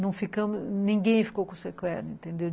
Não ficamos, ninguém ficou com sequela, entendeu?